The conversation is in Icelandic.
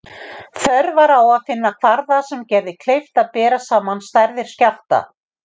Þörf var á að finna kvarða sem gerði kleift að bera saman stærðir skjálfta.